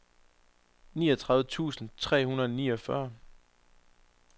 niogtredive tusind tre hundrede og niogfyrre